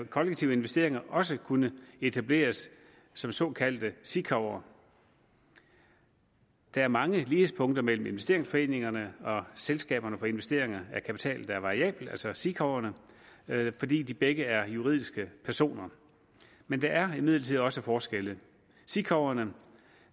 kollektive investeringer også kunne etableres som såkaldte sikav’er der er mange lighedspunkter mellem investeringsforeningerne og selskaberne for investeringer af kapital der er variabel altså sikaverne fordi de begge er juridiske personer men der er imidlertid også forskelle sikaverne